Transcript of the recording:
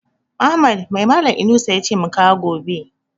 Ahmad mai malan Inusa yace mu kawo gobe?